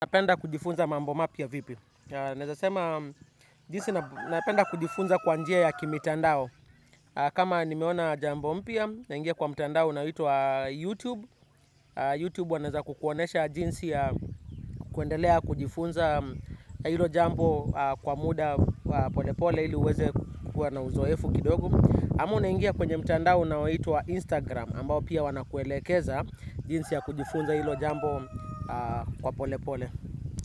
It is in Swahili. Napenda kujifunza mambo mapya vipi. Nezasema jinsi napenda kujifunza kwa njia ya kimitandao. Kama nimeona jambo mpya naingia kwa mtandao unaitwa YouTube YouTube wanezakukuonesha jinsi ya kuendelea kujifunza ilo jambo kwa muda pole pole ili uweze kukua na uzoefu kidogo ama unaingia kwenye mtandao unaitwa Instagram ambao pia wanakuelekeza jinsi ya kujifunza ilo jambo kwa pole pole.